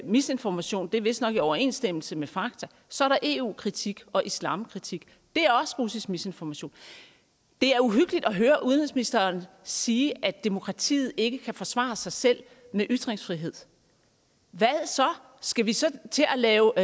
misinformation det er vist nok i overensstemmelse med fakta så er der eu kritik og islamkritik det er også russisk misinformation det er uhyggeligt at høre udenrigsministeren sige at demokratiet ikke kan forsvare sig selv med ytringsfrihed hvad så skal vi så til at lave